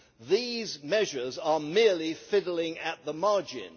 These measures are merely fiddling at the margin.